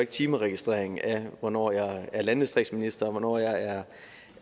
timeregistrering af hvornår jeg er landdistriktsminister og hvornår jeg er